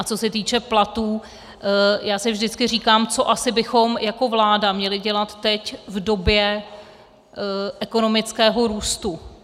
A co se týče platů, já si vždycky říkám, co asi bychom jako vláda měli dělat teď v době ekonomického růstu.